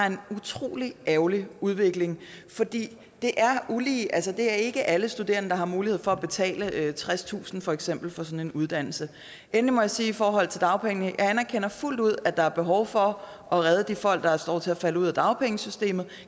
en utrolig ærgerlig udvikling for det er ulige det er ikke alle studerende der har mulighed for at betale tredstusind kroner for eksempel for sådan en uddannelse endelig må jeg sige i forhold til dagpengene at jeg fuldt ud anerkender at der er behov for at redde de folk der står til at falde ud af dagpengesystemet og